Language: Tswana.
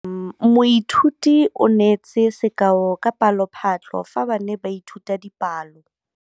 Moithuti o neetse sekaô sa palophatlo fa ba ne ba ithuta dipalo.